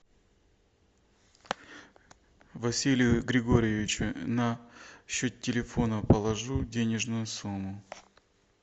василию григорьевичу на счет телефона положу денежную сумму